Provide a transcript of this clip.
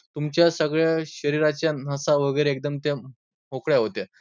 तुमच्या सगळ्या शरीराच्या नसा वगैरे एकदम त्या मोकळ्या होतात.